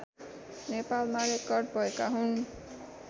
नेपालमा रेकर्ड भएका हुन्